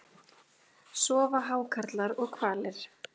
Sofa hákarlar og hvalir?